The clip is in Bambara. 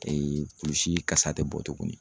kulusi kasa te bɔ tuguni.